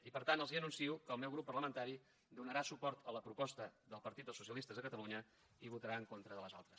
i per tant els anuncio que el meu grup parlamentari donarà suport a la proposta del partit dels socialistes de catalunya i votarà en contra de les altres